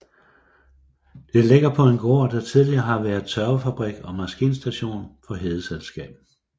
Det ligger på en gård der tidligere har været tørvefabrik og maskinstation for Hedeselskabet